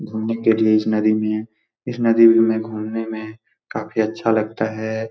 घूमने के लिए इस नदी में इस नदी में घूमने में काफी अच्छा लगता है।